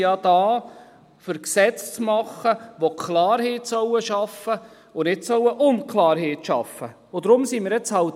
Aber wir sind ja hier, um Gesetze zu machen, die Klarheit schaffen sollen, und nicht Unklarheit.